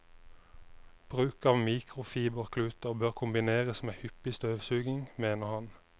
Bruk av mikrofiberkluter bør kombineres med hyppig støvsuging, mener han.